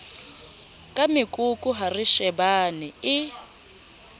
ka mekoko ha reshebana e